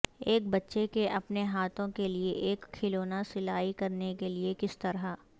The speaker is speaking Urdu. ایک بچے کے اپنے ہاتھوں کے لئے ایک کھلونا سلائی کرنے کے لئے کس طرح